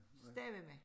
Stavene